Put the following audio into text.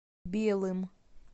белым